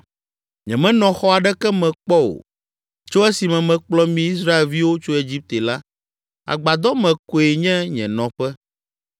Nyemenɔ xɔ aɖeke me kpɔ o, tso esime mekplɔ mi Israelviwo tso Egipte la, agbadɔ me koe nye nye nɔƒe.